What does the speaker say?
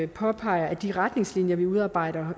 påpeger at de retningslinjer vi udarbejder